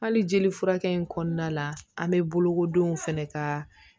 Hali jeli furakɛ in kɔnɔna la an bɛ bolokodenw fɛnɛ ka